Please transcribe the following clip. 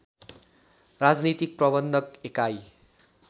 राजनीतिक प्रबन्धन एकाइ